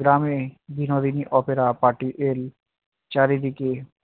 গ্রামে Binodini opera party এর চারিদিকে